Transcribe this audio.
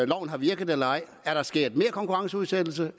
loven har virket eller ej er der sket mere konkurrenceudsættelse